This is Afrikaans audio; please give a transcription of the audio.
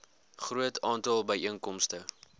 groot aantal byeenkomste